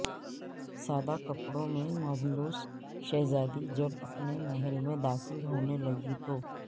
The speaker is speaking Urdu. سادہ کپڑوں میں ملبوس شہزادی جب اپنے محل میں داخل ہونےلگی تو